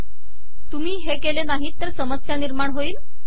तुम्ही हे केले नाहीत तर समस्या निर्माण होईल